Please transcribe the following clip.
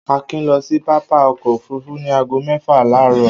Akin lọ sí pápá ọkọ̀-òfurufú ní ago mẹ́fà láàárọ̀.